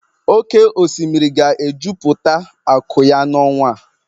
Oke osimiri ga-ejupụta akụ ya n'ọnwa a.